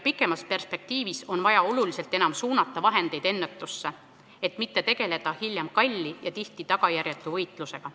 Pikemas perspektiivis on vaja oluliselt enam suunata vahendeid ennetusse, et mitte tegeleda hiljem kalli ja tihti tagajärjetu võitlusega.